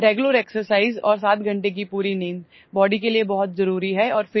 Regular exercise and full sleep of 7 hours is very important for the body and helps in staying fit